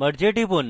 merge we টিপুন